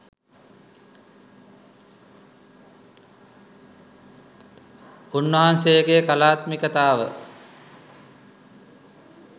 උන්වහන්සේගේ කලාත්මිකතාව